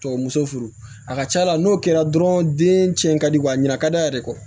Tɔw muso furu a ka ca la n'o kɛra dɔrɔn den cɛn ka di wa a ɲina ka d'a yɛrɛ kɔ